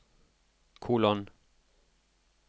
kolon